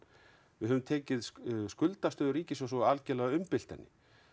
við höfum tekið skuldastöðu ríkissjóðs og algjörlega umbylt henni